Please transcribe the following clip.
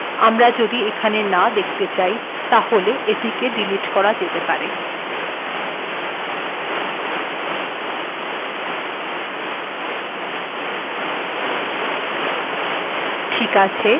এখন যদি আমরা ৩ সংখ্ািটেক এখােন না দেখতে চাই তাহলে এটিকে ডিলিট করা যেতে পারে